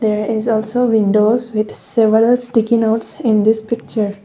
there is also windows with several sticky notes in this picture.